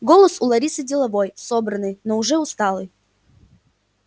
голос у ларисы деловой собранный но уже усталый